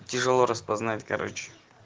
тяжело распознать короче